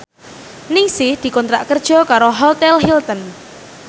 Ningsih dikontrak kerja karo Hotel Hilton